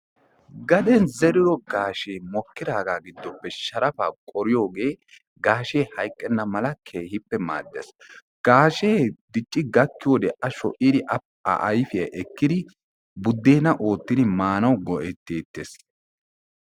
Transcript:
Gaden zerido gaashee mokidaaga giddoppe sharafaa qoriyooge gaashee hayiqqenna mala keehippe maaddees. Gaashee dicci gakkiyoode A sho'idi A ayifiya ekkidi budeena oottidi maanawu go"etteetes.